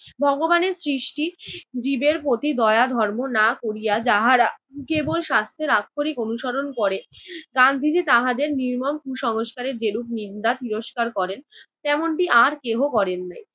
ভগবানের সৃষ্টি জীবের প্রতি দয়া ধর্ম না করিয়া যাহারা কেবল শাস্ত্রের আক্ষরিক অনুসরণ করে, গান্ধীজি তাহাদের নির্মম কুসংস্কারের যেরূপ নিন্দা তিরস্কার করেন তেমনটি আর কেহ করেন নাই।